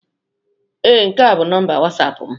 Ee, nke a bụ nọmba wasapụ m.